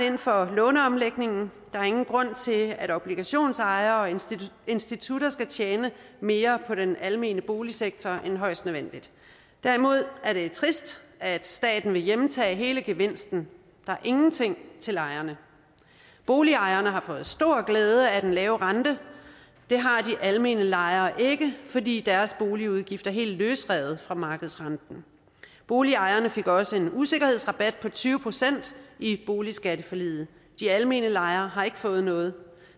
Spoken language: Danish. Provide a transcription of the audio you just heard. ind for låneomlægningen der er ingen grund til at obligationsejere og institutter institutter skal tjene mere på den almene boligsektor end højst nødvendigt derimod er det trist at staten vil hjemtage hele gevinsten der er ingenting til lejerne boligejerne har fået stor glæde af den lave rente det har de almene lejere ikke fordi deres boligudgifter er helt løsrevet fra markedsrenten boligejerne fik også en usikkerhedsrabat på tyve procent i boligskatteforliget de almene lejere har ikke fået noget